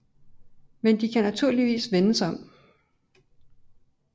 Men de kan naturligvis vendes om